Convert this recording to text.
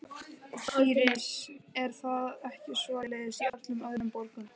Íris: Er það ekki svoleiðis í öllum öðrum borgum?